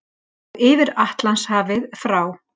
Og yfir Atlantshafið frá